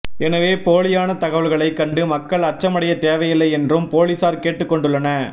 எனவே போலியான தகவல்களை கண்டு மக்கள் அச்சமடைய தேவையில்லை என்றும் பொலிஸார் கேட்டுக்கொண்டுள்ளன